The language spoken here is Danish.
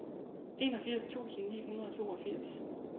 enogfirs tusind ni hundrede og toogfirs